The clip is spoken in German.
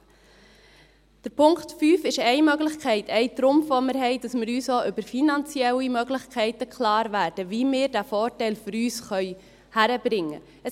Der Punkt 5 ist eine Möglichkeit, ein Trumpf den wir haben, dass wir uns auch über finanzielle Möglichkeiten klarwerden, wie wir den Vorteil für uns hinkriegen können.